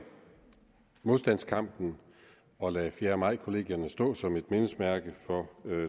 modstandskampen og lade fjerde maj kollegierne stå som et mindesmærke for